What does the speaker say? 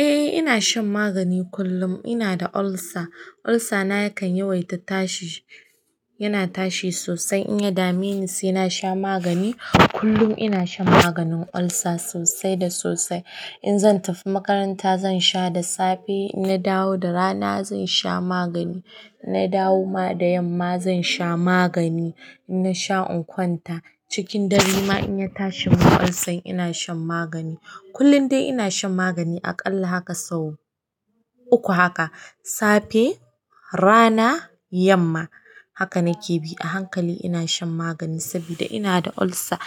Eh ina shan magani kullum. Ina da ulcer. Ulcer na yakan yawaita tashi, yana tashi sosai. In ya dami ni sai na sha magani. Kullum ina shan maganin ulcer sosai da sosai. In zan tafi makaranta zan sha da safe, na dawo da rana zan sha magani, na dawo ma da yamma zan sha magani. Na sha in kwanta. Cikin dare ma in ya tashi mun ulcer ina shan magani. Kullun dai ina shan magani aƙalla haka sau uku haka safe, rana, yamma. Haka nake bi a hankali ina shan magani saboda ina da ulcer.